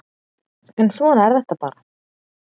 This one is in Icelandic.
En svona er þetta bara